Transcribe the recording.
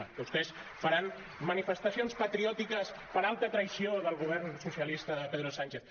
diments) vostès faran manifestacions patriòtiques per alta traïció del govern socialista de pedro sánchez